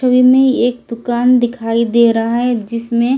छवि में एक दुकान दिखाई दे रहा है जिसमें--